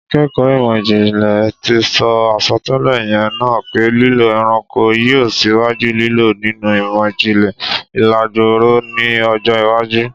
Àkẹ́kọ̀ ìmọ̀-jìnlẹ̀ tì sọ àsọtẹ́lè yẹn naá pé lílò ẹranko yio síwájú lílò nínù ìmọ̀-jìnlẹ̀ ìlàgboọ̀rọ́ ni ọjọ̀ iwájú